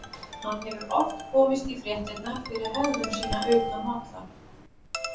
Hann hefur oft komist í fréttirnar fyrir hegðun sína utan vallar.